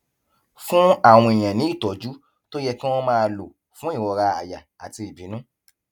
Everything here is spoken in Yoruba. fún àwọn èèyàn ní ìtójú tó yẹ kí wón máa lò fún ìrora àyà àti ìbínú